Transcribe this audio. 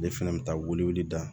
Ne fɛnɛ bɛ taa welewele da